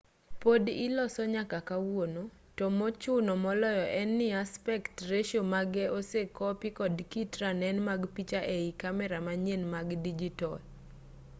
pod ilose nyaka kawuono to mochuno moloyo en ni aspect ratio mage osekopi kod kit ranen mag picha ei kamera manyien mag dijitol